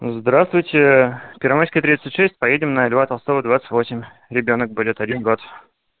здравствуйте первомайская тридцать шесть поедем на льва толстого двадцать восемь ребёнок будет один год